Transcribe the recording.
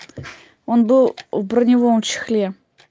он был в броневом чехле